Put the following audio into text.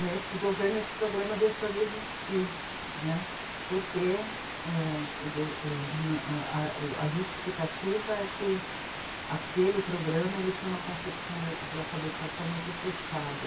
Nesse governo, esse programa deixou de existir, né, porque a justificativa é que aquele programa tinha uma concepção de alfabetização muito fechada.